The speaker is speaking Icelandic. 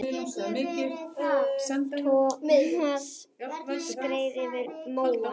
Thomas skreið yfir móann.